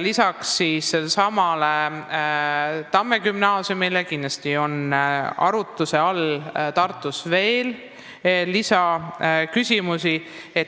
Lisaks Tamme gümnaasiumile on Tartus arutluse all kindlasti veel see,